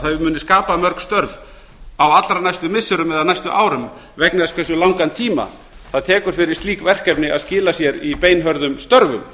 að þau muni skapa mörg störf á allra næstu missirum eða næstu árum vegna þess hversu langan tíma það tekur fyrir slík verkefni að skila sér í beinhörðum störfum